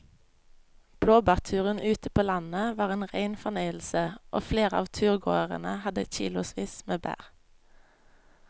Blåbærturen ute på landet var en rein fornøyelse og flere av turgåerene hadde kilosvis med bær.